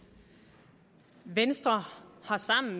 venstre